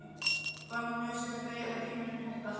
Var nú nauðsynlegt að eyða tímanum í þetta!